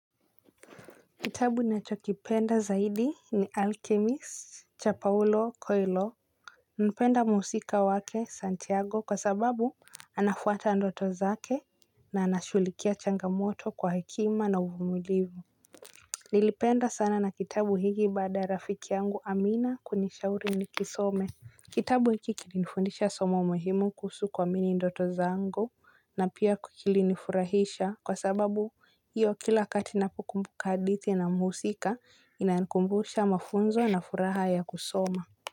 Kitabu nachokipenda zaidi ni Alchemist Cha paulo Coilo. Napenda mhusika wake Santiago kwa sababu anafuata ndoto zake na anashughulikia changamoto kwa hekima na uvumilivu. Nilipenda sana na kitabu hiki baada ya rafiki yangu amina kunishauri ni kisome. Kitabu hiki kilinifundisha somo muhimu kusu kuamini ndoto zangu na pia kilinifurahisha kwa sababu hiyo kila wakati ninapokumbuka hadithi na mhusika inanikumbusha mafunzo na furaha ya kusoma.